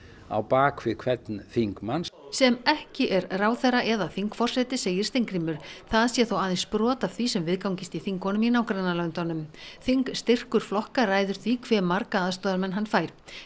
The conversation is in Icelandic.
á bak við hvern þingmann sem ekki er ráðherra eða þingforseti segir Steingrímur það sé þó aðeins brot af því sem viðgangist í þingunum í nágrannalöndunum þingstyrkur flokka ræður því hve marga aðstoðarmenn hann fær